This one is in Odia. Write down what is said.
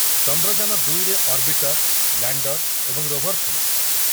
ଚନ୍ଦ୍ରଯାନ ଦୁଇ ରେ ଅର୍ବିଟର, ଲ୍ୟାଣ୍ଡର ଏବଂ ରୋଭର ଥିଲା ।